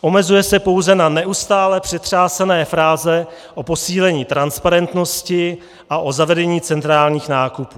Omezuje se pouze na neustále přetřásané fráze o posílení transparentnosti a o zavedení centrálních nákupů.